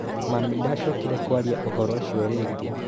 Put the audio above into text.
Mami ndacokire kwaria ũhoro ũcio rĩngĩ.